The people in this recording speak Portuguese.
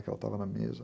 Que ela estava na mesa.